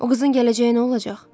O qızın gələcəyi nə olacaq?